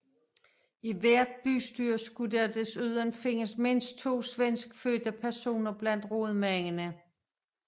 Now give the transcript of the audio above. I hvert bystyre skulle der desuden findes mindst to svenskfødte personer blandt rådmændene